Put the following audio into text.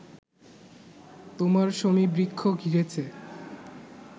তোমার শমীবৃক্ষ ঘিরেছে